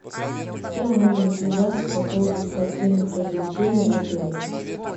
с кем можно связаться по поводу спортивных развлечений в отеле